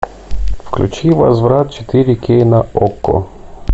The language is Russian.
включи возврат четыре кей на окко